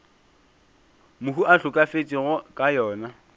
mohu a hlokafetšego ka yona